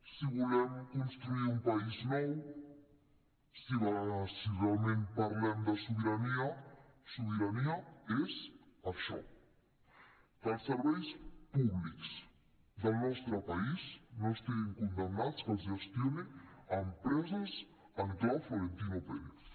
si volem construir un país nou si realment parlem de sobirania sobirania és això que els serveis públics del nostre país no estiguin condemnats que els gestionin empreses en clau florentino pérez